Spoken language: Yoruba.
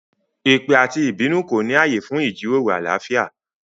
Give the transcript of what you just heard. Èpè àti ìbínú kò ní ààyè fún ìjíròrò àlàáfíà